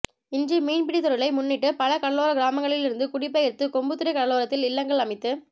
இன்று மீன்பிடித் தொழிலை முன்னிட்டு பல கடலோரக் கிராமங்களிலிருந்து குடிபெயர்ந்து கொம்புத்துறை கடலோரத்தில் இல்லங்கள் அமைத்து